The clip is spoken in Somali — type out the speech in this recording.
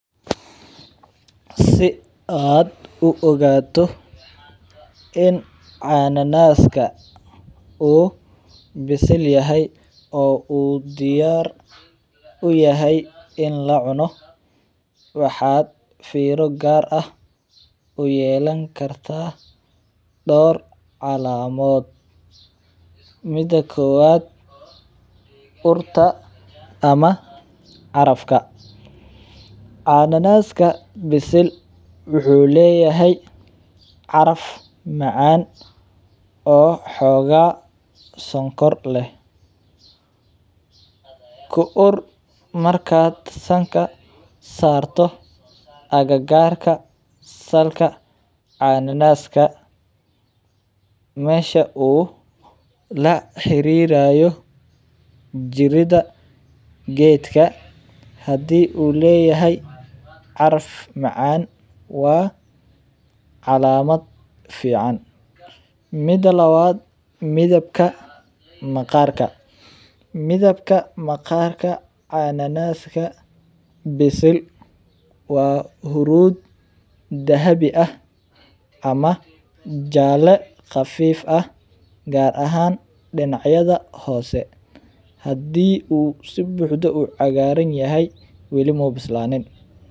Si aad u ogaato in cananaaska uu bisil yahay oo uu diyaar uyahay in la cuno waxaad fiiro gaar ah uyeelan kartaa door cakamadood, mida kowaad urta ama carafka, cananaaska bisil wuxuu leyahay caraf macaan oo xogaa sokor leh, ku ur markaad sanka saarto agagaarka salka cananaaska, meesha uu la xariirayo jirida geedka hadii uu leyahay caraf macaan waa calaamad fican, mida labaad midabka maqarka, midabka maqarka cananaaska bisil waa huruud dahabi ah ama jaale qafiif ah, gaar ahaan dinacyada Hoose, hadii uu si buuxdo u cagaaran yahay weli muu bislanin.